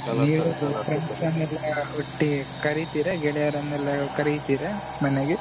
Friends ನೆಲ್ಲ ಒಟ್ಟಿಗೆ ಕರಿತಿರ ಗೆಳೆಯರನ್ನೆಲ್ಲ ಕರೀತೀರ ಮನೆಗೆ?